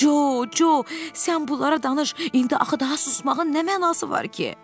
Con, Con, sən bunlara danış, indi axı daha susmağın nə mənası var ki?